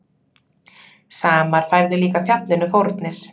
Samar færðu líka fjallinu fórnir.